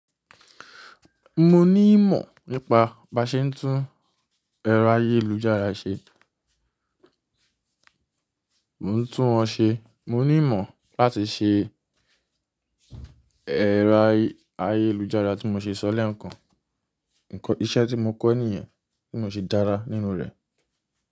Mo ní ìmọ̀ nípa bí a ṣe ń tún ẹ̀rọ ayélujára ṣe. Mò ń tún wọn ṣe, mo ní ìmọ̀ láti ṣe ẹ̀rọ ayélujára tí mo ṣe sọ lẹ́ẹ̀kan. Nǹkan iṣẹ́ tí mo kọ́ nìyẹn, tí mo ṣe dára nínú rẹ̀.